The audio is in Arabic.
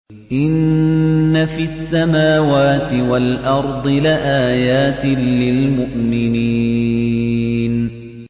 إِنَّ فِي السَّمَاوَاتِ وَالْأَرْضِ لَآيَاتٍ لِّلْمُؤْمِنِينَ